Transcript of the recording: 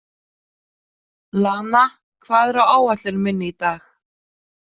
Lana, hvað er á áætlun minni í dag?